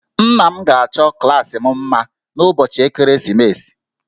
Nna m ga-achọ klaasị m mma n'ụbọchị ekeresimesi